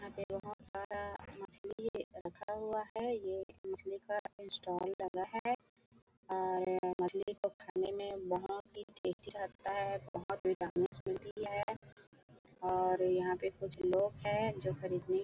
यहाँ बहोत सारा मछली रखा हुआ है यह एक मछली का स्टाल लगा है और मछली को खाने में बहोत ही टेस्टी लगता है बहोत विटामिन्स मिलती है और यहाँ पे कुछ लोग है जो खरीदने--